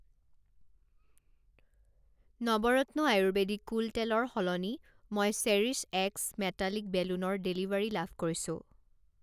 Navratna ayurvedic cool তেলৰ সলনি মই চেৰিশ্ব এক্স মেটালিক বেলুনৰ ডেলিভাৰী লাভ কৰিছোঁ।